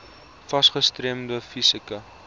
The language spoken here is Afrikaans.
fas gestremde fisieke